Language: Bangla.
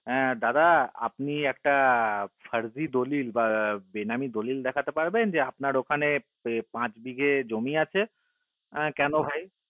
হে দাদা আপনি একটা দলিল ফারজি বা বেনামি দলিল দেখতে পারবেন যে আপনার ওখানে যে পাঁচ বিঘে জমি আসে হা কেন ভাই